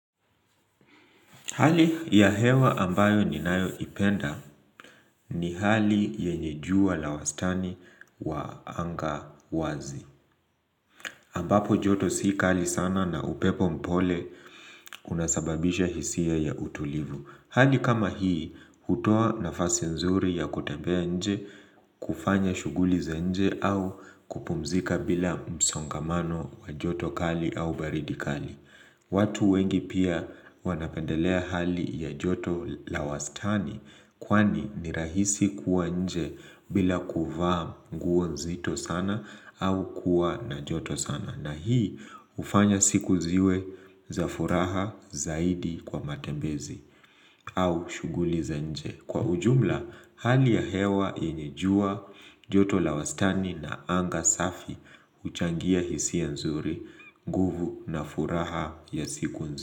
Hali ya hewa ambayo ninayo ipenda ni hali yenye jua lawastani wa anga wazi. Ambapo joto si kali sana na upepo mpole unasababisha hisia ya utulivu. Hali kama hii, hutoa nafasi nzuri ya kutembea nje, kufanya shughuli za nje au kupumzika bila msongamano wa joto kali au baridi kali. Watu wengi pia wanapendelea hali ya joto lawastani kwani nirahisi kuwa nje bila kuvaa nguo nzito sana au kuwa na joto sana na hii hufanya siku ziwe za furaha zaidi kwa matembezi au shughuli za nje. Kwa ujumla, hali ya hewa yenye jua, joto la wastani na anga safi huchangia hisia nzuri, nguvu na furaha ya siku nzuri.